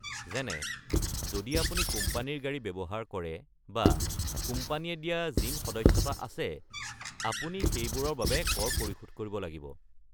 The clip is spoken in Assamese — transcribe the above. যেনে, যদি আপুনি কোম্পানীৰ গাড়ী ব্যৱহাৰ কৰে বা কোম্পানীয়ে দিয়া জিম সদস্যতা আছে, আপুনি সেইবোৰৰ বাবে কৰ পৰিশোধ কৰিব লাগিব।